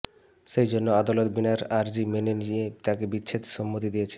সেই জন্যে আদালত বিনার আর্জিই মেনে নিয়ে তাঁকে বিচ্ছেদে সম্মতি দিয়েছে